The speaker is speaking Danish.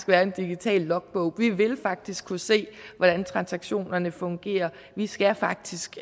være en digital logbog vi vil faktisk kunne se hvordan transaktionerne fungerer vi skal faktisk